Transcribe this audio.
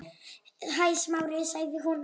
Hæ, Smári- sagði hún.